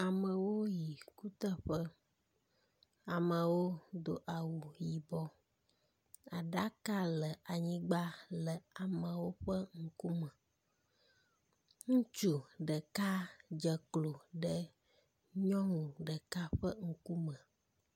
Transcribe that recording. Amewo le kuteƒe. Amewo do awu yibɔ. Aɖaka le anyigba le amewo ƒe ŋkume. Ŋutsu ɖeka dze ko ɖe nyɔnu ɖeka ƒe ŋkume.